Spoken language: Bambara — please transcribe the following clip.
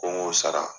Ko n k'o sara